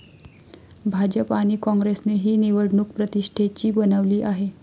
भाजप आणि कॉंग्रेसने ही निवडणूक प्रतिष्ठेची बनवली आहे.